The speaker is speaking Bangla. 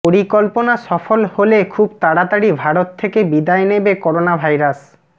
পরিকল্পনা সফল হলে খুব তাড়াতাড়ি ভারত থেকে বিদায় নেবে করোনাভাইরাস